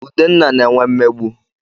Udenna na-enwe mmegbu.